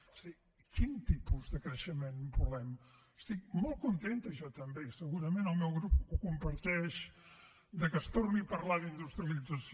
o sigui quin tipus de creixement volem estic molt contenta jo també i segurament el meu grup ho comparteix que es torni a parlar d’industrialització